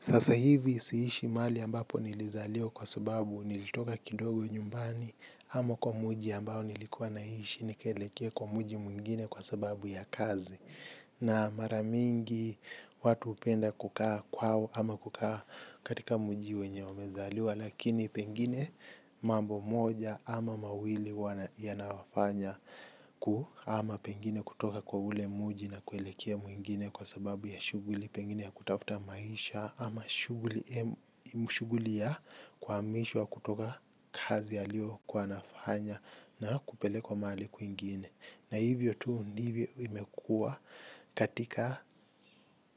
Sasa hivi siishi mahali ambapo nilizaliwa kwa sababu nilitoka kidogo nyumbani ama kwa muji ambao nilikuwa naishi nikieleke kwa muji mwingine kwa sababu ya kazi na maramingi watu hupenda kukaa kwao ama kukaa katika muji wenye wamezaliwa lakini pengine mambo moja ama mawili yanawafanya ama pengine kutoka kwa ule muji na kueleke mwingine kwa sababu ya shuguli pengine ya kutafuta maisha ama shughuli shuguli ya kuhamishwa kutoka kazi aliokuwa nafanya na kupelekwa mahi kwingine. Na hivyo tu ndivyo imekuwa katika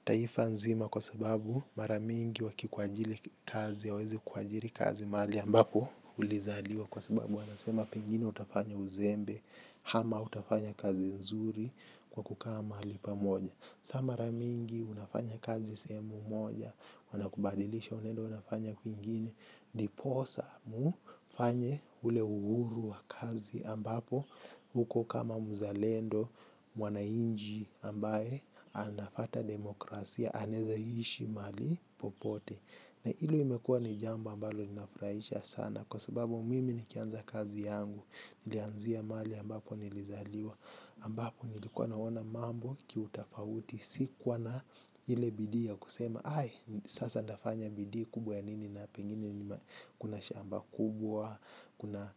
taifa nzima kwa sababu maramingi waki kuajili kazi ya hawezi kuajili kazi mahali ambapo ulizaliwa kwa sababu wanasema pengine utafanya uzembe hama utafanya kazi nzuri. Kwa kukaa mahalipamoja. Saa mara mingi unafanya kazi sehemu moja. Wanakubadilisha unaendo unafanya kwinginw ndiposa mu fanye ule uhuru wa kazi ambapo huko kama mzalendo wanainji ambaye anafata demokrasia, anezaishi mahali popote. Na hilo imekua ni jambo ambalo ninafurahisha sana. Kwa sababu mimi nikianza kazi yangu. Nilanzia mahali ambapo nilizaliwa ambapo nilikuwa naona mambo kiutafauti. Sikuwa na ile bidii ya kusema hai sasa nafanya bidii kubwa ya nini na pengine kuna shamba kubwa. Kuna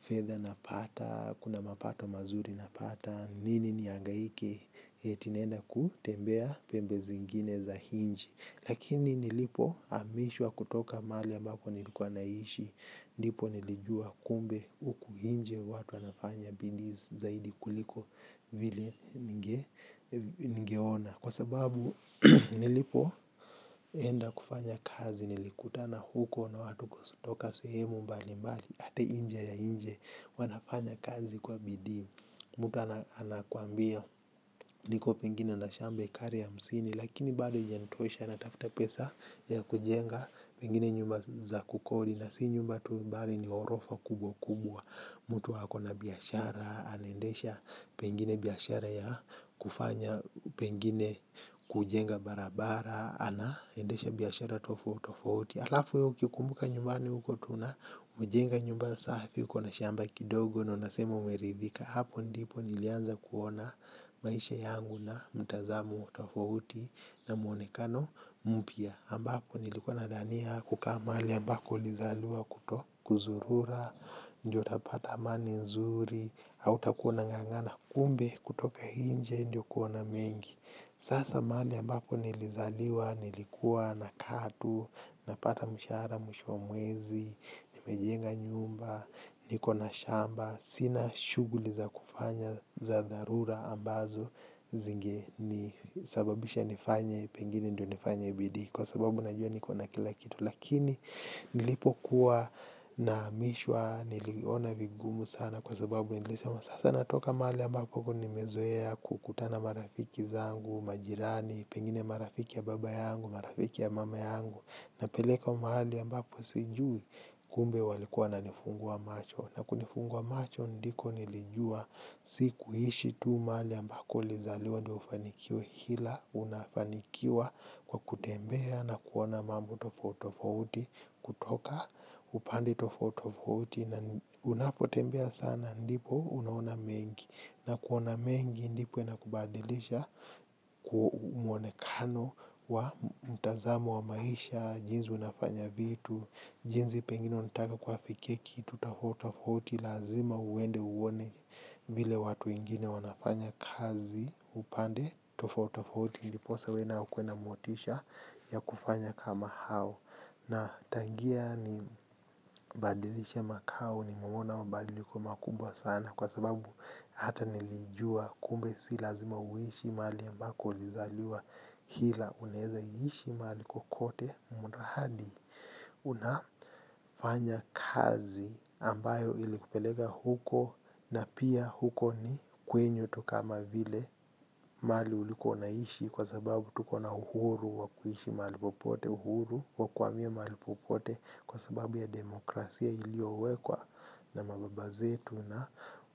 fedha napata. Kuna mapato mazuri napata. Nini niagaike. Eti naenda kutembea pembe zingine za hinji. Lakini nilipo amishwa kutoka mahali ambapo nilikuwa naishi. Ndipo nilijua kumbe huku hinje watu wanafanya bidii zaidi kuliko vile ningeona. Kwasababu nilipoenda kufanya kazi nilikutana huko na watu kutoka sehemu mbalimbali hadi nje ya inje wanafanya kazi kwa bidii, mutu anakuambia niko pengine na shamba hekari hamsini. Lakini bado hijanitosha natafutapesa ya kujenga pengine nyumba za kukodi. Na si nyumba tu mbali ni horofa kubwa kubwa. Mutu ako na biashara. Anendesha pengine biashara ya kufanya pengine kujenga barabara. Anaendesha biashara tofauti tofauti. Alafu we ukikumbuka nyumbani uko tu na umejenga nyumba safi. Ukona shamba kidogo. Na unasema umeridhika. Hapo ndipo nilianza kuona. Maisha yangu na mtazamu tofauti. Na muonekano mpya ambako nilikua dhania kuka mahali ambako lizaliwa kuto Kuzurura. Ndiyo tapata amani nzuri. Au takuwa ungangana kumbe kutoka hinje. Ndiyo kuona mengi. Sasa mahali ambapo nilizaliwa. Nilikuwa na kaa tu. Napata mshahara mwisho wa mwezi. Nimejenga nyumba. Nikona shamba. Sina shughuli za kufanya za dharura ambazo zinge ni sababisha nifanye. Pengini ndio nifanye bidii. Kwa sababu najua nikona kila kitu. Lakini nilipo kuwa nahamishwa niliona vigumu sana kwa sababu nilesema sasa natoka mahali ambako nimezoea kukutana marafiki zangu, majirani, pengine marafiki ya baba yangu, marafiki ya mama yangu. Na pelekwa mahali ambako sijui kumbe walikuwa na nifungua macho. Na kunifungua macho ndiko nilijua sikuishi tu ambako ulizaliwa ndio ufanikiwe ila unafanikiwa kwa kutembea na kuona mambo tofauti tofauti. Kutoka upande tofauti tofauti unapotembea sana ndipo unaona mengi. Na kuona mengi ndipo inakubadilisha. Kumuonekano wa mtazamo wa maisha. Jinzi unafanya vitu. Jinzi pengini unataka kuwa fikia tofauti tofauti lazima uende uone. Vile watu ingine wanafanya kazi upande tofauti tofauti ndiposa uwena ukue na motisha ya kufanya kama hao. Na tangia ni badilishe makao ni mwona mabadiliko makubwa sana. Kwa sababu hata nilijua kumbe si lazma uishu mahali ambaki ulizaliwa hila unaeza ishu mahali kokote mradi unafanya kazi ambayo ilikupeleka huko na pia huko ni kwenyu tu kama vile mahali ulikua unaishi kwa sababu tuko na uhuru wakuishi mahali popote uhuru wakuhamia mahali popote kwa sababu ya demokrasia iliyowekwa na mababazetu na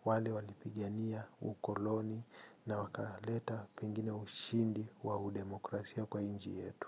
wale walipigania ukoloni na wakaleta pengine ushindi wau demokrasia kwa inji yetu.